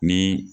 Ni